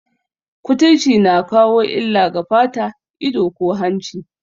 Kuturci na kawo illa ga fata, ido, ko hanci